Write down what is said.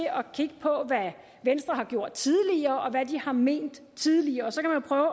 kigge på hvad venstre har gjort tidligere og hvad de har ment tidligere